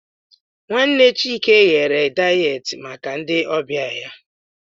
Nwanne Chike ghere dayet maka ndị ọbịa ya.